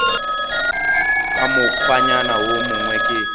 ka mokgwanyana wo mongwe ke